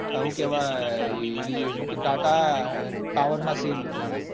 સુ કેવાય. કે tata power ના share લીધા